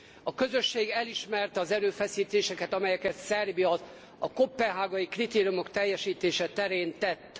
A Közösség elismerte az erőfeszítéseket, amelyeket Szerbia a koppenhágai kritériumok teljesítése terén tett.